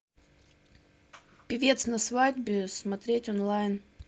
певец на свадьбе смотреть онлайн